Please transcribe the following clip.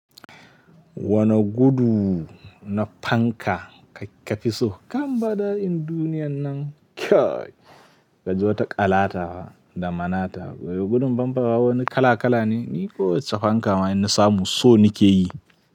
Wane gudu na fanka ka fi so kan bala'in duniyan nan? Kyai ka ji wata ƙalata da manata. Gudun banbawa wani kala kala ne, ni kowacce fanka mai nassamu so nake yi.